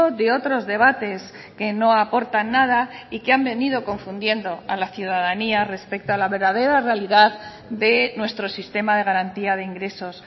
de otros debates que no aportan nada y que han venido confundiendo a la ciudadanía respecto a la verdadera realidad de nuestro sistema de garantía de ingresos